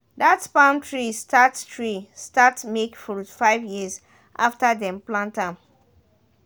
that palm tree start tree start make fruit five years after dem plant am